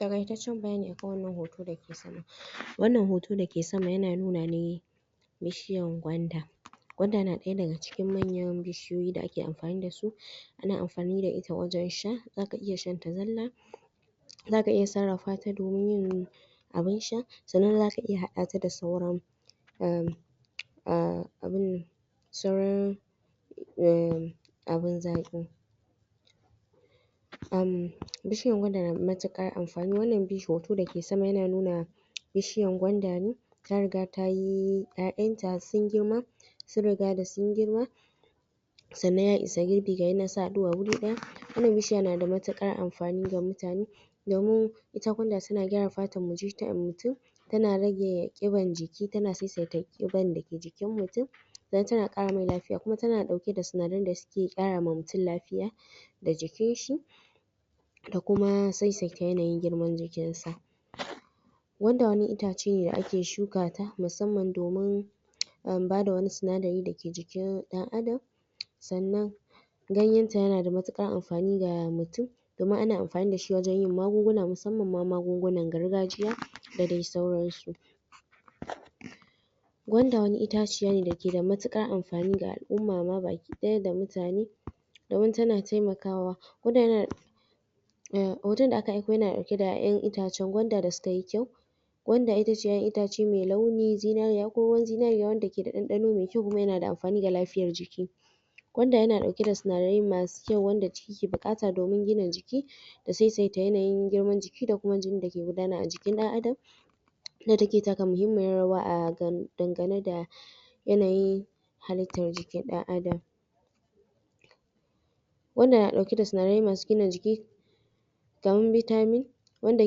Taƙaitaccen bayani akan wannan hoto da ke sama wannan hoto da ke sama ya na nuna ne bishiyar gwanda, gwanda na cikin manyan bishiyoyi da ake amfani da su ana amfani da ita wajen sha, za ka iya shanta zalla zaka iya sarrafata domin yin abun sha sannan za ka iya haɗata da sauran a....abun sauran ummmm abun zaƙi, bishiyar gwanda na da matuƙar amfani wannan hoto da yake sama ya na nuna bishiyan gwanda ne ta riga ta yi 'ya'yanta sun girma sun riga da sun girma sannan ya isa girbi gayanan su na haɗuwa wuri ɗaya wannan bishiya na da matuƙar amfani ga mutane domin ita gwanda ta na gyara fatar mutum ta na rage ƙiban jiki ta na sassaita ƙiban da ke jikin mutum, don ta na ƙara mai lafiya kuma ta na ɗauke da sinadaran da ke ƙara ma mutum lafiya da jikinshi da kuma saisaita yanayin girman jikinsa, gwanda wani itace ne da ake shukata musamman domin umm bada wani sinadari da ke jikin ɗan adam sannan ganyenta ya na da matuƙar amfani ga mutum domin ana amfani da shi wajn yin magunguna musamman ma magungunan gargajiya da sauransu Gwanda wani itaciya ne da ke da matuƙar amfani ga al'umma ma baki ɗaya da mutane, domin ta na taimakawa gwanda ya na hoton da aka ɗauko ya na ɗauke da 'ya'yan gwanda wanda su ka yi kyau, gwanda ita ce 'ya'yan itace mai launi zinariya ko ruwan zinariya wanda ke da ɗanɗano mai kyau kuma ya na da amfani ga lafiyar jikii gwanda ya na ɗauke da sinadarai ma su kyau wanda jiki ke buƙata domin gina jiki da saisaita yanayin girman jiki da kuma jinin da ke gudana a jikin ɗan adam inda taka muhimmiyar rawa a dangane da yanayin halittar jikin ɗan adam, gwanda na ɗauke da sinadarai masu gina jiki kamar vitamin wanda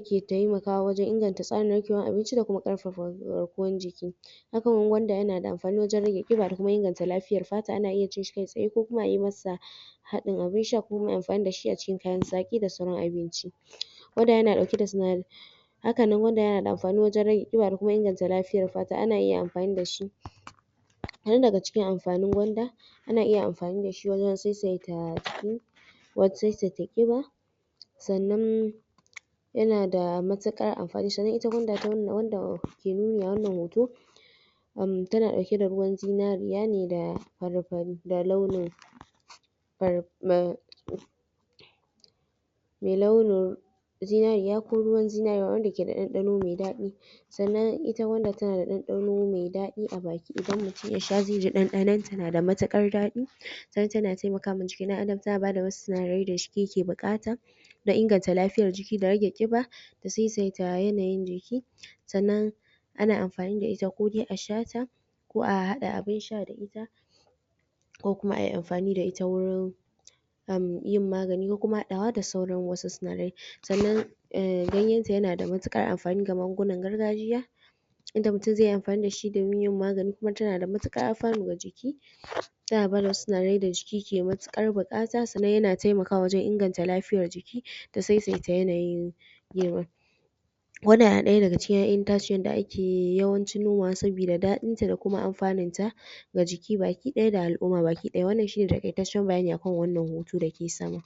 ke taimakawa wajen inganta tsarin narkewar abinci da kuma ƙarfafa garkuwar jiki haka nan gwanda ya na da amfani wajen rage ƙiba da kuma inganta lafiyar fata ana iya cin sa kai tsaye ko kuma ayi ma sa haɗin abun sha ko kuma ai amfani da shi a cikin kayan zaƙi da sauran abinci, gwamda ya na ɗauke da sinadarai haka nan gwanda ya na da amfani wajen rage ƙiba da inganta lafiyar fata ana iya amfani da shi kaɗan daga cikin amfanin gwanda: Ana iya amfani da shi wajen saisaita jiki, wajen saisaita ƙiba, sannan ya na da matuƙar amfani sannan ita gwanda abunda ke nuni a wannan hoto ta na ɗauke da ruwan zinariya ne da fari-fari da launin mai launin zinariya ko ruwan zinariya wanda ke da ɗanɗano mai daɗi, sannan ita gwanda ta na da ɗanɗano mai daɗi a baki idan mutum ya sha zai ji ɗanɗanonta na da matuƙar daɗi, tana taimakama jikin ɗan adam, ta na bada wasu sinadarai da ya ke buƙata da inganta lafiyar jiki da rage ƙiba da saisaita yanayin jiki, sannan ana amfani da ita kode a sha ta ko a haɗa abun sha da ita, ko kuma ai amfani da ita wurin yin magani ko kuma haɗawa da sauran sinadarai, sannan ganyenta ya na da matuƙar amfani ga magungunan gargajiya inda mutum zai yi amfani da shi kuma ta na da matuƙar alfanu ga jiki ta na ba da wasu sinadarai da jiki ke matuƙar buƙata sannan ya na taimakawa wajen inganta lafiyar jiki, da saisaita yanayin girma, wannan ya na ɗaya daga cikin 'ya'yan itacinyanda ake yawancin nomawa saboda daɗinta da kuma amfaninta ga jiki baki ɗaya da al'umma baki ɗaya wannan shine taƙaitaccen bayani akan wannan hoto da ke sama.